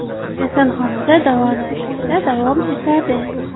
Kasalxonada davolanishda davom etadi.